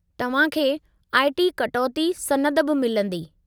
तव्हां खे आईटी कटौती सनद बि मिलंदी।